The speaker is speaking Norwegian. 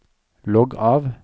logg av